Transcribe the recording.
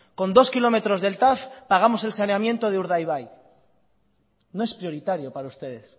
con dos kilómetros del tav pagamos el saneamiento de urdaibai no es prioritario para ustedes